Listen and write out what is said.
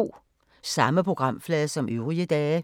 Samme programflade som øvrige dage